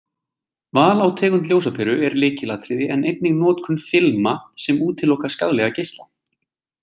Val á tegund ljósaperu er lykilatriði en einnig notkun filma sem útiloka skaðlega geisla.